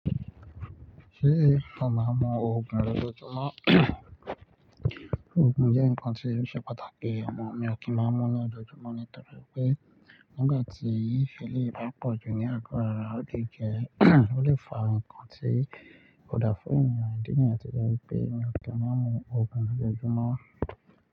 Ṣé o máa ń mu òògùn lójoojúmọ́? Òògùn jẹ́ nǹkan tí ó ṣe pàtàkì, ọmọ mi. Mi ò kí n máa ń mu ní ojoojúmọ́ nítorí pé nígbà tí eléyìí bá pọ̀jù ní àgọ́ ara, ó lè jẹ ó lè fa ǹkan tí kò da fún ènìyàn. Ìdí nìyẹn tí ó jẹ́ pé mi ò kí ń mu òògùn lójoojúmọ́.